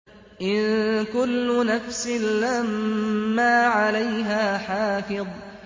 إِن كُلُّ نَفْسٍ لَّمَّا عَلَيْهَا حَافِظٌ